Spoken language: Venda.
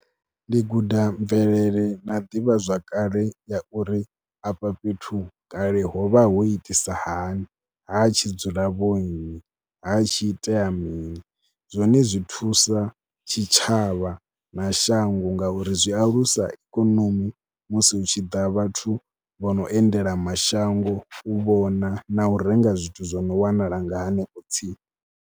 Ndi guda mvelele na ḓivhazwakale ya uri afha fhethu kale ho vha ho itisa hani, ha tshi dzula vhonnyi, ha tshi itea mini. Zwone zwi thusa tshitshavha na shango ngauri zwi alusa ikonomi musi hu tshi ḓa vhathu vho no endela mashango, u vhona na u renga zwithu zwo no wanala nga hanefho tsini.